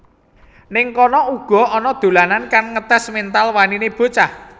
Ning kono uga ana dolanan kang ngetes mental wanine bocah